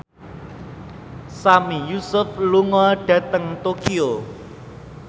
Sami Yusuf lunga dhateng Tokyo